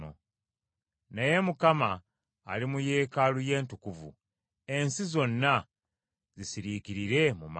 Naye Mukama ali mu yeekaalu ye entukuvu: ensi zonna zisiriikirire mu maaso ge.”